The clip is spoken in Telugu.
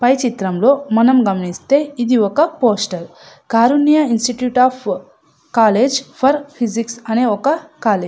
పై చిత్రంలో మనం గమనిస్తే ఇది ఒక poster . Karunya institute of college for physics అనే ఒక కాలేజ్ .